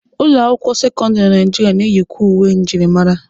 Ụlọ akwụkwọ sekọndịrị na Naijiria na-eyikwe uwe njirimara.